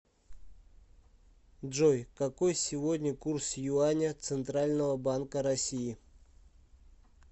джой какой сегодня курс юаня центрального банка россии